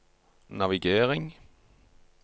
navigering